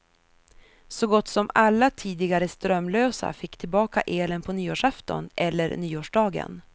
Så gott som alla tidigare strömlösa fick tillbaka elen på nyårsafton eller nyårsdagen.